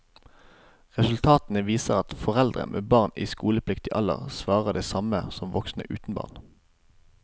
Resultatene viser at foreldre med barn i skolepliktig alder svarer det samme som voksne uten barn.